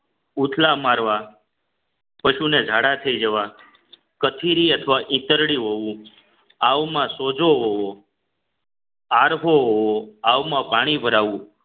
ઉથલા મારવા પશુને ઝાડા થઈ જવા કથીરી અથવા ઈતરડી હોવું આવુ માં સોજો આરહો હોવો આવવા માં પાણી ભરાવુ